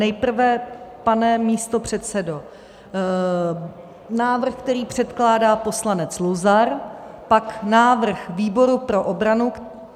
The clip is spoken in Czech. Nejprve, pane místopředsedo, návrh, který předkládá poslanec Luzar, pak návrh výboru pro obranu.